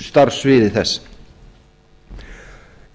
starfssviði þess